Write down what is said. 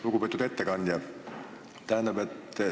Lugupeetud ettekandja!